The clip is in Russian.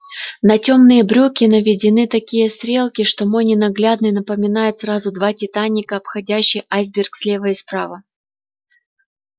на тёмные брюки наведены такие стрелки что мой ненаглядный напоминает сразу два титаника обходящие айсберг слева и справа